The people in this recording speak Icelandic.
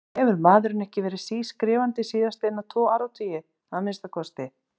Hefur maðurinn ekki verið sískrifandi síðastliðna tvo áratugi, að minnsta kosti?